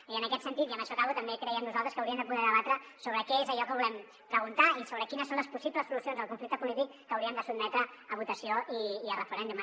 i en aquest sentit i amb això acabo també creiem nosaltres que hauríem de poder debatre sobre què és allò que volem preguntar i sobre quines són les possibles solucions al conflicte polític que hauríem de sotmetre a votació i a referèndum